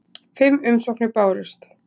Fimm umsóknir bárust.